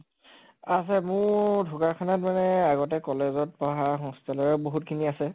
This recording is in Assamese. আছে, মোৰ ঢকোৱাখানাত মানে আগতে college পঢ়া hostel ৰে বহুত খিনি আছে